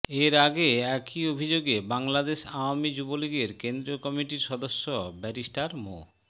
এর আগে একই অভিযোগে বাংলাদেশ আওয়ামী যুবলীগের কেন্দ্রীয় কমিটির সদস্য ব্যারিস্টার মো